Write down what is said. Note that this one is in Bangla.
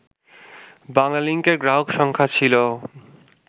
বাংলালিংকের গ্রাহক সংখ্যা ছিল